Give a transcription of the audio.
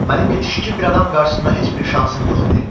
Mənim yetişkin bir adam qarşısında heç bir şansım yox idi.